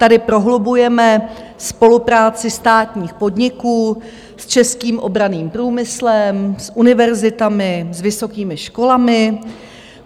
Tady prohlubujeme spolupráci státních podniků s českým obranným průmyslem, s univerzitami, s vysokými školami.